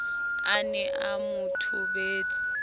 a ne a mo thobetse